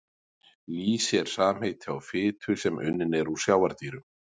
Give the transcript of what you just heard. Lýsi er samheiti á fitu sem unnin er úr sjávardýrum.